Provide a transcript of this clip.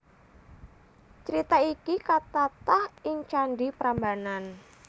Crita iki katatah ing Candhi Prambanan